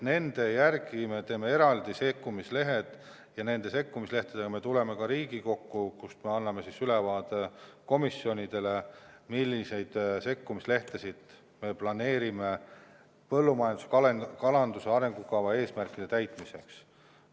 Nende järgi me teeme eraldi sekkumislehed ja nende sekkumislehtedega me tuleme Riigikokku, kus me anname ülevaate komisjonidele, milliseid sekkumislehti me planeerime põllumajanduse ja kalanduse arengukava eesmärkide täitmiseks.